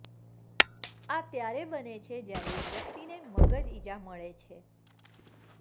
આ ત્યારે બને છે જ્યારે એક વ્યક્તિ મગજ ઈજા મળે છે